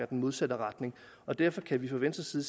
den modsatte retning og derfor kan vi fra venstres